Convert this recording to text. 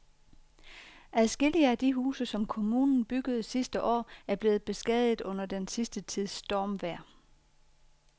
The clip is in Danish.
Adskillige af de huse, som kommunen byggede sidste år, er blevet beskadiget under den sidste tids stormvejr.